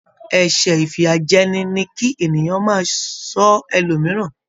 Ẹsẹ ifiyajẹni ní kí ènìyàn máa sọ ẹlòmíràn.